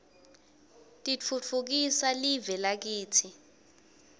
titfutfukisa live lakitsi